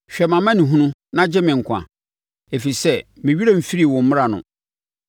Hwɛ mʼamanehunu na gye me nkwa ɛfiri sɛ me werɛ mfirii wo mmara no.